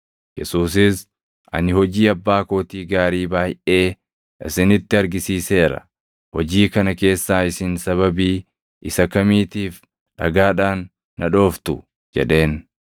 Yesuusis, “Ani hojii Abbaa kootii gaarii baayʼee isinitti argisiiseera. Hojii kana keessaa isin sababii isa kamiitiif dhagaadhaan na dhooftu?” jedheen.